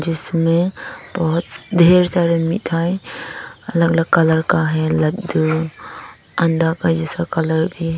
इसमें बहुत ढेर सारी मिठाई अलग अलग कलर का है लड्डू अंडा का जैसा कलर भी।